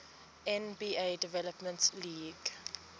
nba development league